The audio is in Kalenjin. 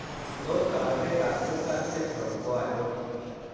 Tos kabarunoik ab Tucker syndrome ko achon?